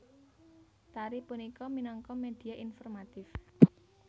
Tari punika minangka media informatif